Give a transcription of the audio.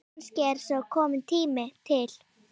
Kannski er sá tími kominn.